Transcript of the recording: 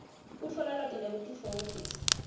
kutfola lwati nekutitfokotisa